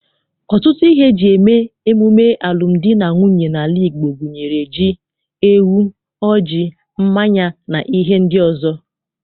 Ọtụtụ ihe eji eme emume alụmdi na nwunye n'ala Igbo gunyere ji, ewu, ọjị, mmanya, na ihe ndị ọzọ.